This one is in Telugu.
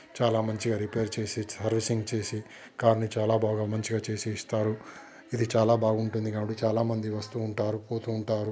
చాలా మంచిగా రిపేర్ చేసి సర్వీసింగ్ చేసి కార్ ని చాలా బాగా మంచిగా చేసి ఇస్తారు ఇది చాలా బాగుంటుంది కాబట్టి చాలామంది వస్తూ ఉంటారు పోతూ ఉంటారు.